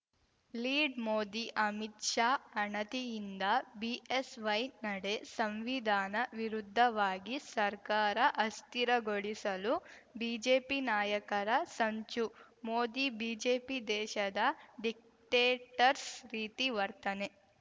lead Modi Amit Shah ಅಣತಿಯಿಂದ BSY ನಡೆ ಸಂವಿಧಾನ ವಿರುದ್ಧವಾಗಿ ಸರ್ಕಾರ ಅಸ್ಥಿರಗೊಳಿಸಲು ಬಿಜೆಪಿ ನಾಯಕರ ಸಂಚು ಮೋದಿ ಬಿಜೆಪಿ ದೇಶದ ಡಿಕ್ಟೇಟರ್ಸ್ ರೀತಿ ವರ್ತನೆ